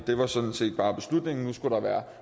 det var sådan set bare beslutningen nu skulle der være